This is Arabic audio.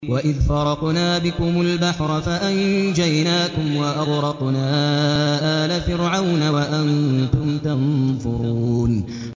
وَإِذْ فَرَقْنَا بِكُمُ الْبَحْرَ فَأَنجَيْنَاكُمْ وَأَغْرَقْنَا آلَ فِرْعَوْنَ وَأَنتُمْ تَنظُرُونَ